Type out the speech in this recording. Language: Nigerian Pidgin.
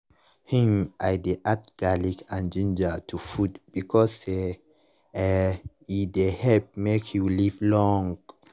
hm i dey add garlic and ginger to food bacause say eh e dey help make you live long.